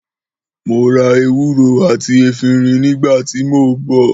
Mò rà ẹwúrò àtí èfìrín ni gbà tí mò bò